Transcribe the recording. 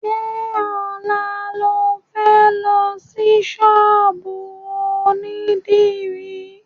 Ṣé ọ̀la lo fẹ́ lọ sí ṣọ́ọ̀bù onídìrí?